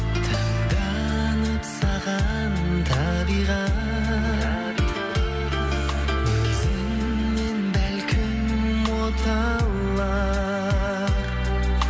таңданып саған табиғат өзіңнен бәлкім оталар